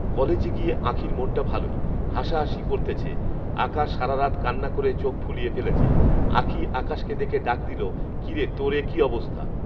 কলেজে গিয়ে আঁখির মনটা ভালোই। হাসা হাসি করতেছে। আকাশ সারারাত কান্না করে চোখফুলিয়ে ফেলেছে। আঁখি আকাশকে দেখে ডাক দিলো, কিরে তোর এ কি অবস্থা,